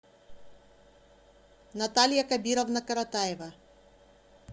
наталья кабировна каратаева